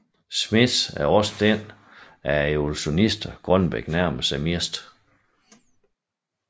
Smith er da også den af evolutionisterne Grønbech nærmer sig mest